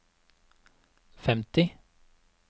femti